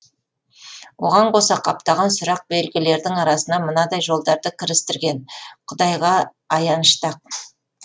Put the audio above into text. оған қоса қаптаған сұрақ белгілердің арасына мынадай жолдарды кірістірген құдайға аянышты ақ